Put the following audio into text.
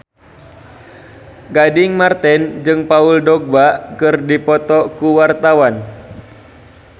Gading Marten jeung Paul Dogba keur dipoto ku wartawan